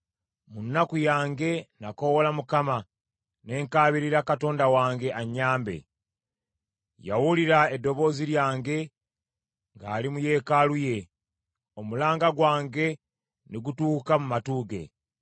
Mu nnaku yange nakoowoola Mukama ; ne nkaabirira Katonda wange annyambe. Yawulira eddoboozi lyange ng’ali mu yeekaalu ye; omulanga gwange ne gutuuka mu matu ge.